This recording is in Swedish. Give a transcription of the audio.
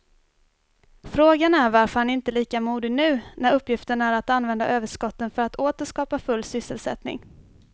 Frågan är varför han inte är lika modig nu när uppgiften är att använda överskotten för att åter skapa full sysselsättning.